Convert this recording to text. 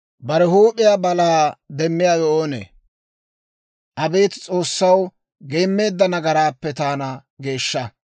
Bare huup'iyaa balaa demmiyaawe oonee? Abeet S'oossaw, geemmeedda nagaraappe taana geeshsha.